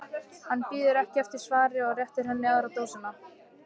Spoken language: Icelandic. Hann bíður ekki eftir svari og réttir henni aðra dósina.